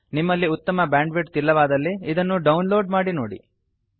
ನಿಮ್ಮಲ್ಲಿ ಉತ್ತಮ ಬ್ಯಾಂಡ್ವಿಡ್ತ್ ಇಲ್ಲವಾದಲ್ಲಿ ಇದನ್ನು ಡೌನ್ ಲೋಡ್ ಮಾಡಿ ನೋಡಿ